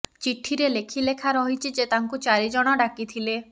ଚିଠିରେ ଲେଖି ଲେଖା ରହିଛି ଯେ ତାଙ୍କୁ ଚାରି ଜଣ ଡାକି ଥିଲେ